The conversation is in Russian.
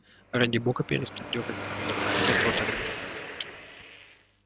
ради бога перестань дёргать меня за когти а то оторвёшь мне голову